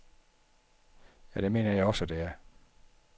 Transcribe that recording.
Ja, det mener jeg også, det er.